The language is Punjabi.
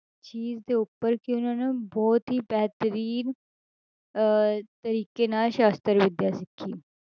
ਚੀਜ਼ ਦੇ ਉੱਪਰ ਕਿ ਉਹਨਾਂ ਨੇ ਬਹੁਤ ਹੀ ਬਿਹਤਰੀਨ ਅਹ ਤਰੀਕੇ ਨਾਲ ਸ਼ਾਸ਼ਤਰ ਵਿੱਦਿਆ ਸਿੱਖੀ।